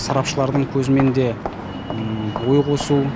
сарапшылардың көзімен де ой қосу